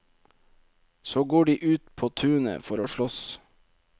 Så går de ut på tunet for å slåss.